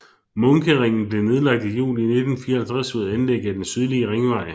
Munkeringen blev nedlagt i juli 1954 ved anlæg af den sydlige ringvej